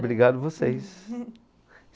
Obrigado vocês.